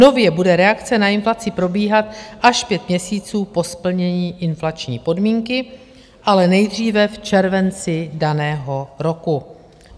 Nově bude reakce na inflaci probíhat až pět měsíců po splnění inflační podmínky, ale nejdříve v červenci daného roku.